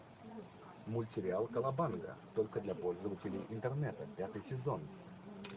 мультсериал колобанга только для пользователей интернета пятый сезон